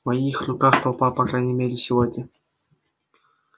в моих руках толпа по крайней мере сегодня